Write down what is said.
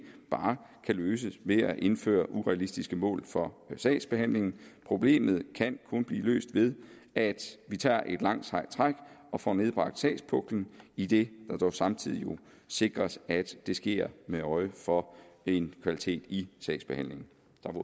bare kan løses ved at indføre urealistiske mål for sagsbehandlingen problemet kan kun blive løst ved at vi tager et langt sejt træk og får nedbragt sagspuklen idet jo dog samtidig sikres at det sker med øje for en kvalitet i sagsbehandlingen